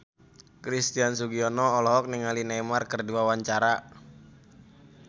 Christian Sugiono olohok ningali Neymar keur diwawancara